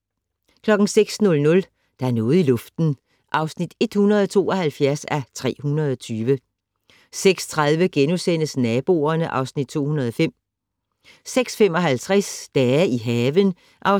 06:00: Der er noget i luften (172:320) 06:30: Naboerne (Afs. 205)* 06:55: Dage i haven (8:12)